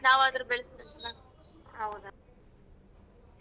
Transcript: Atleast ನಾವಾದರೂ ಬೆಳೆಸ್ಬೇಕಲ್ಲ.